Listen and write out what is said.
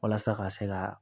Walasa ka se ka